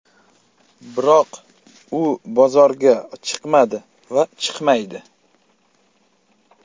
Biroq u bozorga chiqmadi va chiqmaydi.